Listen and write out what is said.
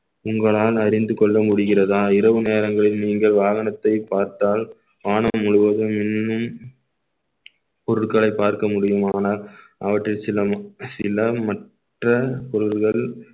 உங்களால் அறிந்து கொள்ள முடிகிறதா இரவு நேரங்களில் நீங்கள் வாகனத்தை பார்த்தாள் வானம் முழுவதும் மின்னும் பொருட்களை பார்க்க முடியுமானால் அவற்றில் சில சில மற்ற பொருள்கள்